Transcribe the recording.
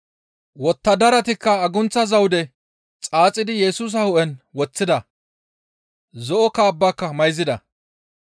Wottadaratikka agunththa zawude xaaxidi Yesusa hu7en woththida; zo7o kaabbaka mayzida.